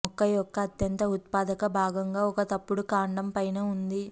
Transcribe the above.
మొక్క యొక్క అత్యంత ఉత్పాదక భాగంగా ఒక తప్పుడు కాండం పైన ఉంది